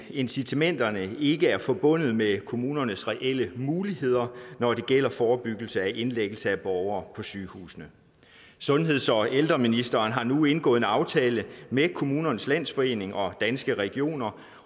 incitamenterne ikke er forbundet med kommunernes reelle muligheder når det gælder forebyggelse af indlæggelse af borgere på sygehusene sundheds og ældreministeren har nu indgået en aftale med kommunernes landsforening og danske regioner